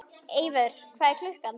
Eivör, hvað er klukkan?